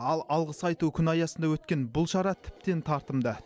ал алғыс айту күні аясында өткен бұл шара тіптен тартымды